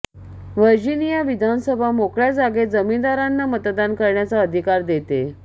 Virginia विधानसभा मोकळ्या जागेत जमीनदारांना मतदान करण्याचा अधिकार देते